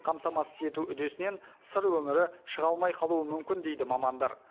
қамтамасыз ету үдесінен сыр өңірі шыға алмай қалуы мүмкін дейді мамандар